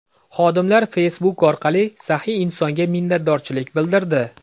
Xodimlar Facebook orqali saxiy insonga minnatdorchilik bildirdi.